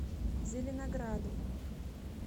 зеленограду